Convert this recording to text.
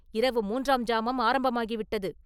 இரவு மூன்றாம் ஜாமம் ஆரம்பமாகி விட்டது.